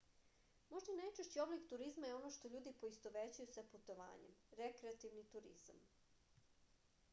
možda i najčešći oblik turizma je ono što ljudi poistovećuju sa putovanjem rekreativni turizam